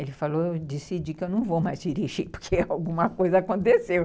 Ele falou, eu decidi que eu não vou mais dirigir, porque alguma coisa aconteceu.